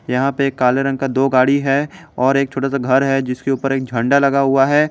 यहां पे काले रंग का दो गाड़ी है और एक छोटा सा घर है जिसके ऊपर एक झंडा लगा हुआ है।